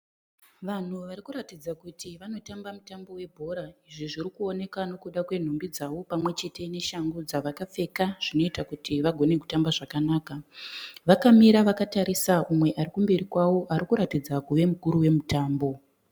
Vanhu varikuratidza kuti vanotamba mutambo webhora, izvi zvirikuoneka nekuda kwenhumbi dzavo pamwe chete neshangu dzavakapfeka zvinoita kuti vagone kutamba zvakanaka. Vakamira vakatarisa umwe aripamberi pavo anoratidza kuva mukuru wemutambo.